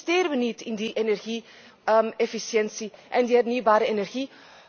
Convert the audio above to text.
Waarom investeren wij niet in die energie efficiëntie en die hernieuwbare energie?